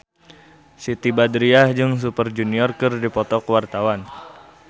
Siti Badriah jeung Super Junior keur dipoto ku wartawan